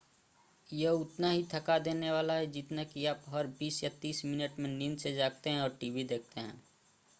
यह उतना ही थका देने वाला है जितना कि आप हर बीस या तीस मिनट में नींद से जागते हैं और टीवी देखते हैं